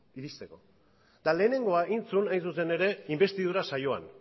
iristeko eta lehenengoa egin zuen hain zuzen ere inbestidura saioan